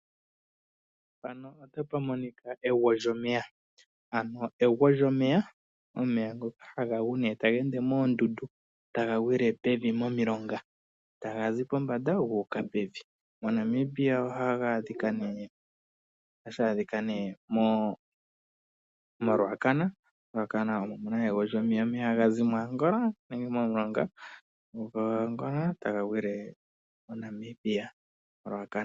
Mpano otapumonika egwo lyomeya. Egwo lyomeya omeya ngoka ha ga gu ta ga ende moondundu ta ga gwile pevi momilonga. Taga zi pombanda gu uka pevi . Monamibia oha ga adhika moRuacana . MoRuacana omu na egwo lyomeya, omeya ha ga zi moAngola nenge momulonga ta ga gwile mo Namibia moRuacana.